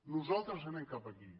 nosaltres anem cap aquí